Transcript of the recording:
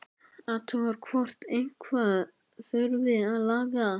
Athugar hvort eitthvað þurfi að laga.